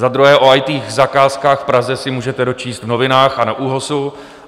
Za druhé, o IT zakázkách v Praze se můžete dočíst v novinách a na ÚOHSu.